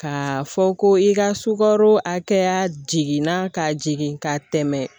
K'a fɔ ko i ka sukaro hakɛya jiginna ka jigin ka tɛmɛ